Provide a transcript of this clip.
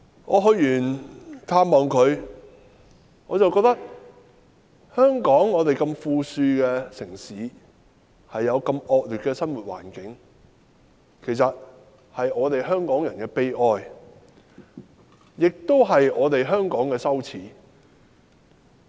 我探訪她後，覺得香港如此富庶的城市竟然有如此惡劣的生活環境，其實是香港人的悲哀，亦是香港的羞耻。